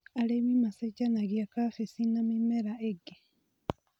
Arĩmi macenjanagia kabeci na mĩmera ĩngĩ.